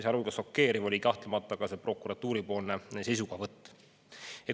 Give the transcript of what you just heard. Sealhulgas oli kahtlemata šokeeriv prokuratuuri seisukohavõtt.